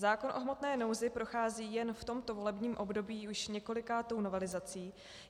Zákon o hmotné nouzi prochází jen v tomto volebním období už několikátou novelizací.